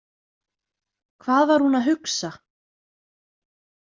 Hvað var hún að hugsa?